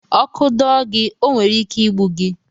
Ọkụ dọọ gị, ọ nwere ike igbu gị.